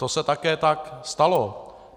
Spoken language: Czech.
To se také tak stalo.